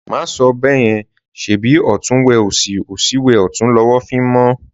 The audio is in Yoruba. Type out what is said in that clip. Má sọ bẹ́yẹn, Ṣèbí ọ̀tún wẹ òsì, òsì wẹ ọ̀tún lọwọ́ fi ń mọ́